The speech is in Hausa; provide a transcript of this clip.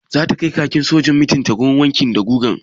Zata kai kakin sojan mijinta wurin wanki da guga?